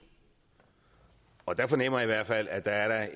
og der fornemmer jeg i hvert fald at der er